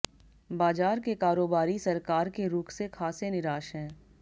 बाजार के कारोबारी सरकार के रुख से खासे निराश हैं